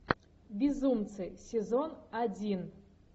безумцы сезон один